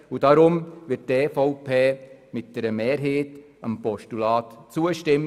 Aus diesen Gründen wird die EVP mehrheitlich dem Postulat zustimmen.